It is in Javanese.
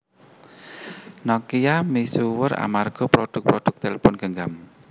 Nokia misuwur amarga prodhuk prodhuk tlepon genggam